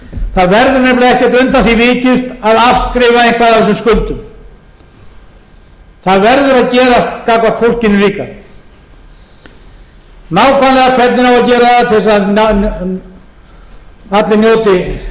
það verður nefnilega ekkert undan því vikist að afskrifa eitthvað af þessum skuldum það verður að gerast gagnvart fólkinu líka nákvæmlega hvernig á að gera það til þess